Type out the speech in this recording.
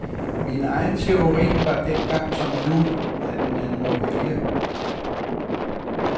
Min egen teori var dengang som nu, at man må vælge.